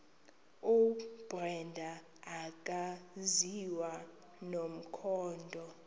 ubrenda akaziwa nomkhondo